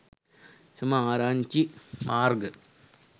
එම ආරංචි මාර්ග